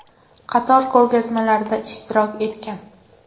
Qator ko‘rgazmalarda ishtirok etgan.